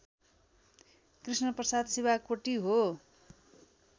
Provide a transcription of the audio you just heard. कृष्णप्रसाद शिवाकोटी हो